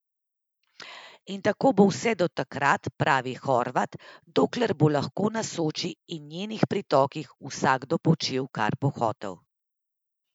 In tako bo vse do takrat, pravi Horvat, dokler bo lahko na Soči in njenih pritokih vsakdo počel, kar bo hotel.